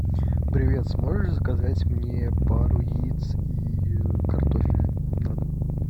привет сможешь заказать мне пару яиц и картофель на дом